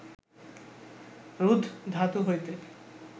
রুদ্ ধাতু হইতে